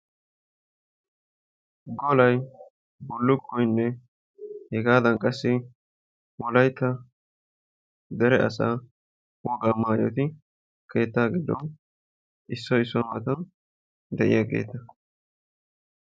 Afalay, bullukkoynne hegaadan qassi wolaytta dere asaa wogaa maayoti keettaa giddon issoy issuwa matan de'iyageeta.